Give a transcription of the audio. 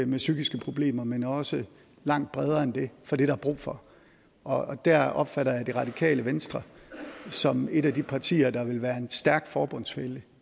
med psykiske problemer men også langt bredere end det for det er der brug for og der opfatter jeg jo det radikale venstre som et af de partier der vil være en stærk forbundsfælle